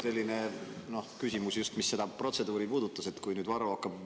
Mul oligi selline küsimus, mis just seda protseduuri puudutab, et kui Varro hakkab kell [13.